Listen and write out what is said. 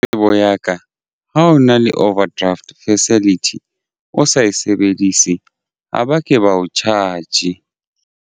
Tsebo ya ka ha o na le overdraft facility o sa e sebedise ha ba ke ba o charge-e.